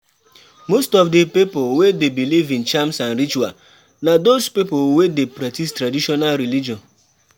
Most of di pipo wey dey believe in charms and rituals na those pipo wey dey practice traditional religion